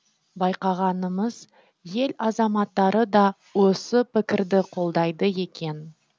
байқағанымыз ел азаматтары да осы пікірді қолдайды екен